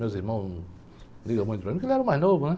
Meus irmãos ligam muito, porque ele era o mais novo, né?